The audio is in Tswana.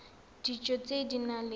dijo tse di nang le